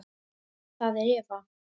Það er Eva.